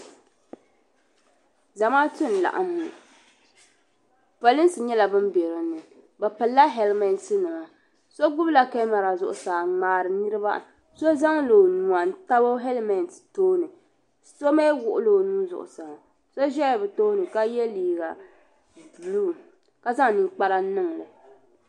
Zamaatu n laɣim ŋɔ polinsi nyɛla bin bɛ din ni bi pili la helimɛnti nima so gbubi la kɛmara zuɣusaa n ŋmari niriba so zaŋ la o nuwa n tabi helimɛnti tooni so ni wuɣi la o nuu zuɣusaa so ʒɛla bi tooni ka yɛ liiga buluu ka zaŋ ninkpara niŋ li.